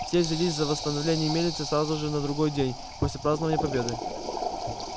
все взялись за восстановление мельницы сразу же на другой день после празднования победы